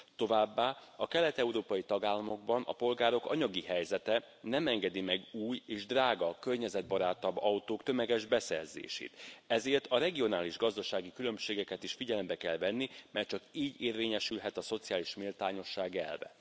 Továbbá a kelet európai tagállamokban a polgárok anyagi helyzete nem engedi meg új és drága környezetbarátabb autók tömeges beszerzését, ezért a regionális gazdasági különbségeket is figyelembe kell venni, mert csak így érvényesülhet a szociális méltányosság elve.